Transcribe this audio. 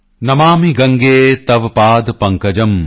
ਨਮਾਮਿ ਗੰਗੇ ਤਵ ਪਾਦ ਪੰਕਜੰ